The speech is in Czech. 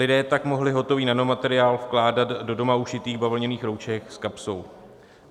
Lidé tak mohli hotový nanomateriál vkládat do doma ušitých bavlněných roušek s kapsou.